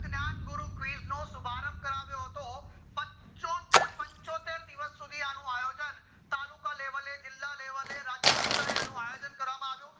જ્ઞાન ગુરુ quiz નો શુભારંભ કરાવ્યો હતો પંચોત્તેર દિવસ સુધી આનું આયોજન તાલુકા level એ જીલ્લા level એ રાજ્ય કક્ષાએ અનુ આયોજન કરવામાં આવ્યું